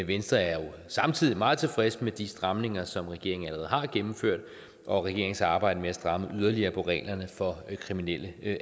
venstre er jo samtidig meget tilfreds med de stramninger som regeringen allerede har gennemført og regeringens arbejde med at stramme yderligere på reglerne for kriminelle